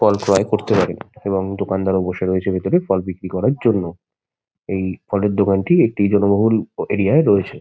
ফল ক্রয় করতে পারেন এবং দোকানদারও বসে রয়েছে ভিতরে ফল বিক্রি করার জন্য। এই ফলের দোকানটি একটি জনবহুল ওও এরিয়া -য় রয়েছে।